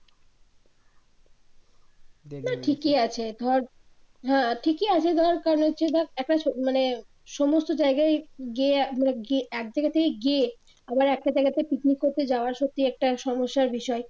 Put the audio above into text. না ঠিকই আছে ধর হ্যা ঠিকই আছে ধর ধর একা মানে সমস্ত জায়গায় গিয়ে মানে এক জায়গা থেকে গিয়ে আবার একটা জায়গাতে পিকনিক করতে যাওয়া সত্যি একটা সমস্যার বিষয়